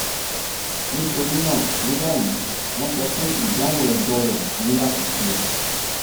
nitorina ni bayi wọn sọ pe idanwo ẹdọ ni lati ṣe